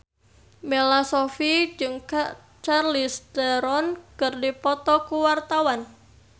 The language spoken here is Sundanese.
Bella Shofie jeung Charlize Theron keur dipoto ku wartawan